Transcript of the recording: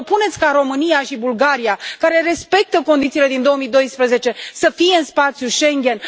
Vă propuneți ca România și Bulgaria, care respectă condițiile din 2012, să fie în spațiul Schengen?